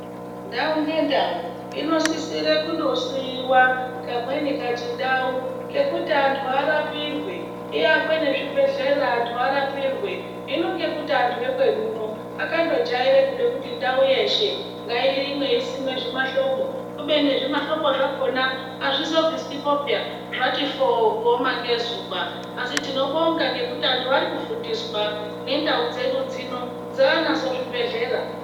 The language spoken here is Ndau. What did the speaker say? Ndau ngendau inosisire kundosiiwa kamweni kachindau kekuti anthu arapirwe iakwe nezvibhedhlera anthu arapirwe hino ngekuti anthu ekwedu uno akandojaira kude kuti ndau yeshe ngairimwe isimwe zvimahlobo kubeni zvimahlobo zvakona azvizobviswipo peya zvati fooo kuoma ngezuwa asi tinobonga ngekuti anthu ari kufundiswa nendau dzedu dzino dzaanazvo zvibhedhlera.